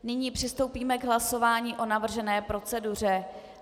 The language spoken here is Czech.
Nyní přistoupíme k hlasování o navržené proceduře.